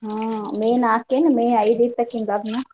ಹ್ಮ್ May ನಾಕೇನ್ May ಐದ ಇತ್ತ್ ಅಕಿನ ಲಗ್ನಾ.